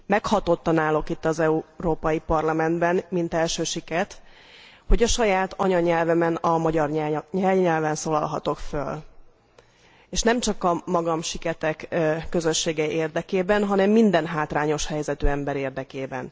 Meghatottan állok itt az Európai Parlamentben, mint első siket, hogy a saját anyanyelvemen, a magyar jelnyelven szólalhatok föl és nem csak magam, a siketek közössége érdekében, hanem minden hátrányos helyzetű ember érdekében.